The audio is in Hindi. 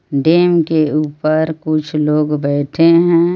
डैम के ऊपर कुछ लोग बैठे हैं।